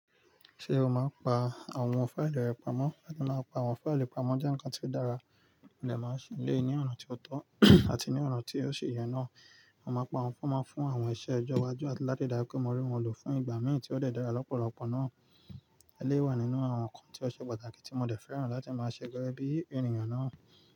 Ṣé o máa ń pa àwọn fáìlì rẹ pamọ́? Láti máa máa ń pa àwọn fáìlì pamọ́ jẹ́ ǹkan tí ó dára, mo dẹ̀ máa ṣe eléyìí ní ọ̀nà tí ó tọ́ àti ní ọ̀nà tí ó ṣe ye náà. A máa pa àwọn fọ́ọ̀mù fún àwọn iṣẹ́ ìjọba ju àti láti dájú pé mó rí wọn lọ fún ìgbà mìíràn tí ó dé dára l'ọ́pọ̀lọ́pọ̀ náà. Eléyìí wà nínú àwọn ǹkan tí ó ṣe pàtàkì tí mo dẹ̀ fẹ́ràn láti máa ṣe gẹ́gẹ́ bí ènìyàn náà.